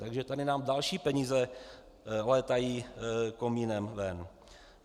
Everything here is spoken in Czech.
Takže tady nám další peníze létají komínem ven.